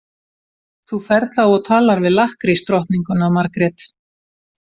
Þú ferð þá og talar við lakkrísdrottninguna, Margrét.